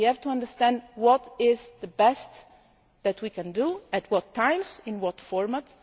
And we have to understand what is the best that we can do, at what times and in what format.